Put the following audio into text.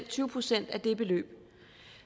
tyve procent af det beløb